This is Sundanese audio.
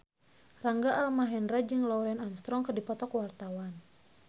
Rangga Almahendra jeung Lance Armstrong keur dipoto ku wartawan